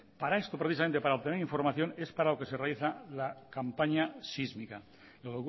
para esto precisamente para obtener información es para lo que se realiza la campaña sísmica lo